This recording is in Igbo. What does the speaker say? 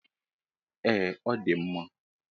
Ee ọdi mma.